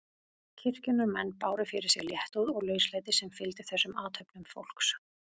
Kirkjunnar menn báru fyrir sig léttúð og lauslæti sem fylgdi þessum athöfnum fólks.